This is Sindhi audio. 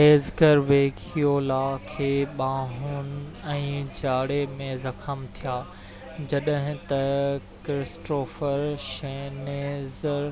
ايڊگر ويگيولا کي ٻانهن ۽ ڄاڙي ۾ زخم ٿيا جڏهن ته ڪرسٽوففر شنيڊر